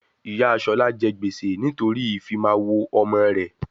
Ìyá Ṣọlá jẹ gbèsè nítorí ìfimawo ọmọ rẹ